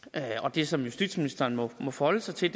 det som justitsministeren må forholde sig til